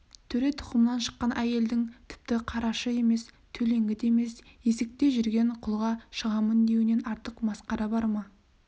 төре тұқымынан шыққан әйелдің тіпті қарашы емес төлеңгіт емес есікте жүрген құлға шығамын деуінен артық масқара бар ма